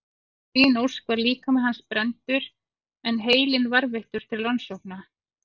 Að eigin ósk var líkami hans brenndur en heilinn varðveittur til rannsókna.